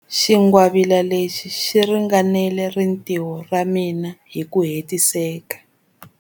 Xingwavila lexi xi ringanela rintiho ra mina hi ku hetiseka.